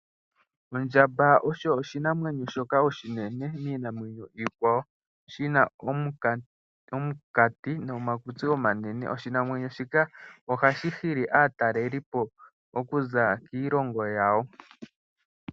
Ondjamba osho oshinamwenyo shoka oshinene miinamwenyo iikwawo shina omukati nomakutsi omanene. Oshinamwenyo shika ohashi hili aataleli po okuza kiilongo yawo.